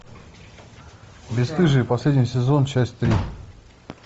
бесстыжие последний сезон часть три